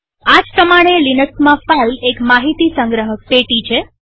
આ જ પ્રમાણે લિનક્સમાં ફાઈલ એક માહિતી સંગ્રહક પેટી છે